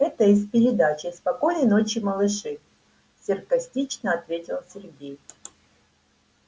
это из передачи спокойной ночи малыши саркастично ответил сергей